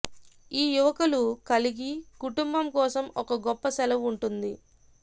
ఈ యువకులు కలిగి కుటుంబం కోసం ఒక గొప్ప సెలవు ఉంటుంది